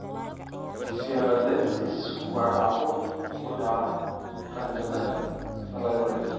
Sialadenitis waa caabuq ku dhaca qanjidhada salivary.